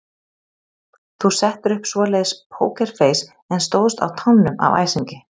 Þú settir upp svoleiðis pókerfeis en stóðst á tánum af æsingi.